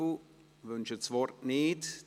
Löffel wünschen das Wort nicht.